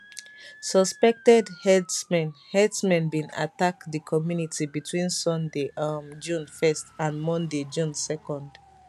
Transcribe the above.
suspected herdsmen herdsmen bin attack di community between sunday um june 1st and monday june 2nd